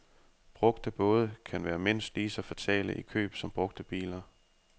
Brugte både kan være mindst lige så fatale i køb som brugte biler.